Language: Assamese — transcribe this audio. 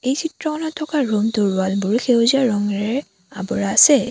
এই চিত্ৰখনত থকা ৰুম টোৰ ৱাল বোৰ সেউজীয়া ৰঙেৰে আৱৰা আছে।